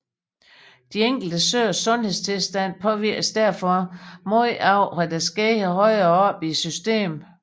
De enkelte søers sundhedstilstand påvirkes derfor meget af hvad der sker højere oppe i systemet